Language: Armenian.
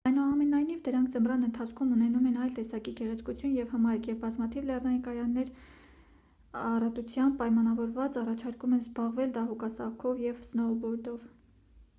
այնուամենայնիվ դրանք ձմռան ընթացքում ունենում են այլ տեսակի գեղեցկություն և հմայք ու բազմաթիվ լեռնային կայաններ, յան առատությամբ պայմանավորված առաջարկում են զբաղվել դահուկասահքով և սնոուբորդով: